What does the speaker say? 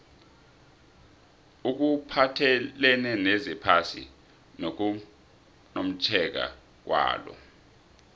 okuphathelene nezephasi nokumotjheka kwalo